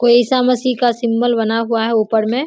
कोई ईसा मसीह का सिंबल बना हुआ है ऊपर में।